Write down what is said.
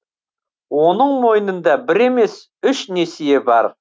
оның мойнында бір емес үш несие бар